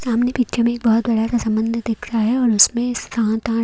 सामने पिक्चर में एक बहुत बड़ा सा संबंध दिख रहा है और उसमें सात आठ--